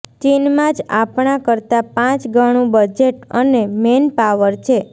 ચીનમાં જ આપણા કરતા પાંચ ગણું બજેટ અને મેનપાવર છે